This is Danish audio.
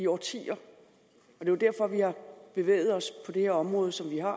årtier og det er derfor at vi har bevæget os på det her område som vi har